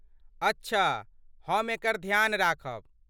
अच्छा, हम एकर ध्यान राखब।